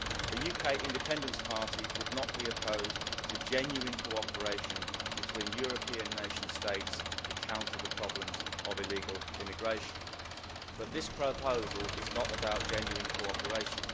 The UK Independence Party would not be opposed to genuine cooperation between European nation states to counter the problems of illegal immigration but this proposal is not about genuine cooperation.